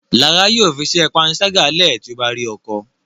Lára yóò fí iṣé panṣaga lẹ ti o bá rí ọkọ